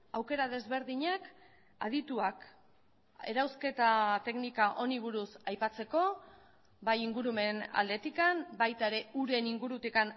aukera desberdinak adituak erauzketa teknika honi buruz aipatzeko bai ingurumen aldetik baita ere uren ingurutik